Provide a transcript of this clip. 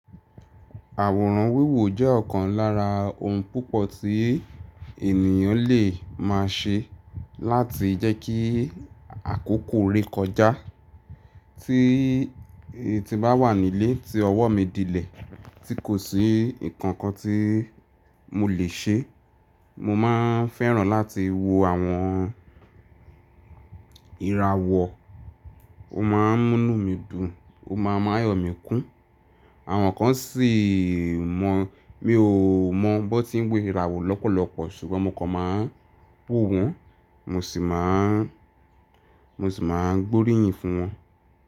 Àwòrán wíwo jẹ́ ọ̀kan lára ohun púpọ̀ tí ènìyàn lè máa ṣe láti jẹ́ kí àkókò re kọjá. Tí ti bá wà nílé tí ọwọ́ mi dílẹ̀ tí kò sí nǹkan kan tí mo lè ṣe, mo máa fẹ́ràn láti wo àwọn ìràwọ̀. Ó máa ń mú mí dùn, ó máa ń máyọ̀ mi kún. Àwọn kan sì mọ̀, mi ò mọ̀ bọ́ tí ń wo ìràwọ̀ lọ́pọ̀lọpọ̀ ṣùgbọ́n mo kàn máa ń wo wọn, mo sì máa ń, mo sì máa ń gbóríyìn fún wọn.